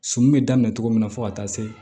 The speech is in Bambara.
Sɔmi be daminɛ cogo min na fo ka taa se